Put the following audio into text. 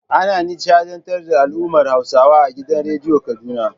Ana nishaɗntar da al'ummar Hausawa a gidan radiyon Kaduna.